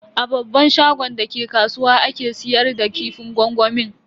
A babban shagon da ke kasuwa ake siyar da kifin gwangwamin.